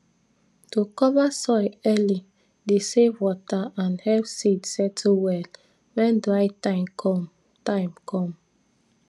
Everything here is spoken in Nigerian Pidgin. to cover soil early dey save water and help seed settle well when dry time com time com